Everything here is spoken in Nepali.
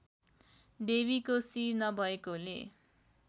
देवीको शिर नभएकोले